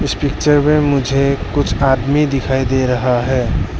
इस पिक्चर मे मुझे कुछ आदमी दिखाई दे रहा है।